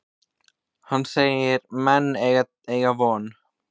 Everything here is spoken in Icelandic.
Hann segir menn eygja von.